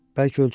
Bəlkə ölçüm?